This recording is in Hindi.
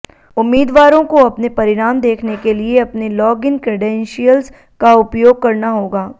उम्मीदवारों को अपने परिणाम देखने के लिए अपने लॉग इन क्रेडेंशियल्स का उपयोग करना होगा